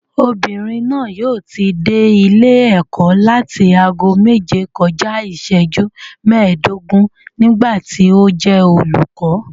Obìnrin náà yóò ti dé ilé ẹ̀kọ́ láti ago méje kọjá iìsẹ́jú mẹ́ẹ̀dógún nígbà tí ó jẹ́ olùkọ́